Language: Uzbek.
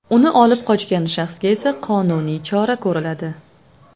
Uni olib qochgan shaxsga esa qonuniy chora ko‘riladi.